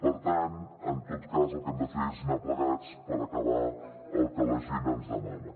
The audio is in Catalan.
per tant en tot cas el que hem de fer és anar plegats per acabar el que la gent ens demana